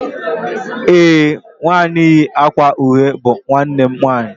ee, nwanyi yi akwa uhie bu nwannem nwanyi